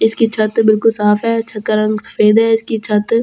इसकी छत्त बिल्कुल साफ है छत्त का रंग सफ़ेद है इसकी छत्त अ पंखा लगा हुआ--